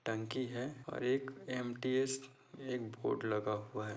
टंकी है और एक एम-टी-एस एक बोर्ड लगा हुआ है।